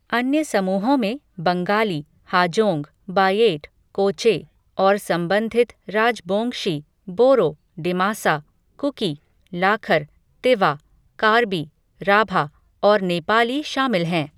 अन्य समूहों में बंगाली, हाजोंग, बायेट, कोचे, और संबंधित राजबोंगशी, बोरो, डिमासा, कुकी, लाखर, तिवा, कार्बी, राभा और नेपाली शामिल हैं।